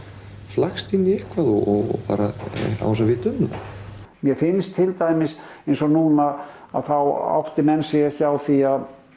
flækst inn í eitthvað og bara án þess að vita um það mér finnst til dæmis eins og núna að þá átti menn sig ekki á því